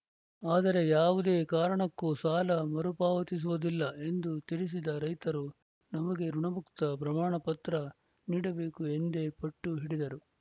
ಆದರೆ ಯಾವುದೇ ಕಾರಣಕ್ಕೂ ಸಾಲ ಮರುಪಾವತಿಸುವುದಿಲ್ಲ ಎಂದು ತಿಳಿಸಿದ ರೈತರು ನಮಗೆ ಋುಣಮುಕ್ತ ಪ್ರಮಾಣ ಪತ್ರ ನೀಡಬೇಕು ಎಂದೇ ಪಟ್ಟು ಹಿಡಿದರು